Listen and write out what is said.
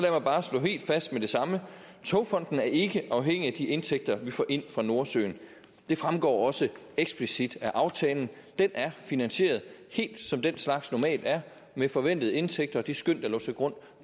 bare slå helt fast med det samme togfonden dk er ikke afhængig af de indtægter vi får ind fra nordsøen det fremgår også eksplicit af aftalen den er finansieret helt som den slags normalt er med forventede indtægter og det skøn der lå til grund